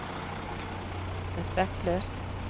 respektløst